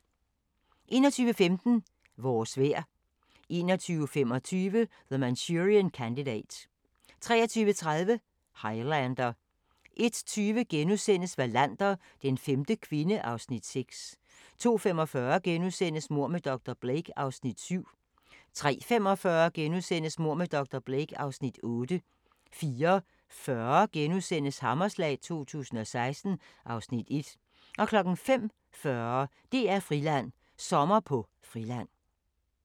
21:15: Vores vejr 21:25: The Manchurian Candidate 23:30: Highlander 01:20: Wallander: Den femte kvinde (Afs. 6)* 02:45: Mord med dr. Blake (Afs. 7)* 03:45: Mord med dr. Blake (Afs. 8)* 04:40: Hammerslag 2016 (Afs. 1)* 05:40: DR-Friland: Sommer på Friland